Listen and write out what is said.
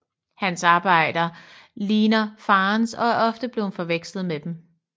Hans arbejder ligner farens og er ofte blevne forvekslede med dem